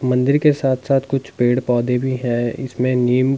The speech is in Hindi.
मंदिर के साथ साथ कुछ पेड़ पौधे भी हैं इसमें नीम--